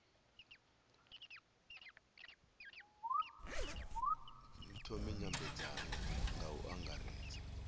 thome nymbedzano nga u angaredza